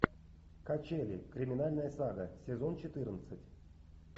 качели криминальная сага сезон четырнадцать